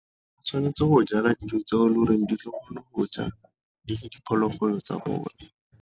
O tshwanetse go jala dijo tseo e le goreng di kgone go ja diphologolo tsa bone.